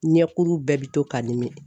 Ɲɛkuru bɛɛ bi to ka nimi.